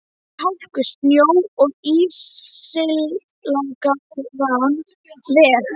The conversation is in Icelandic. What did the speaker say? Yfir hálku, snjó og ísilagðan veg.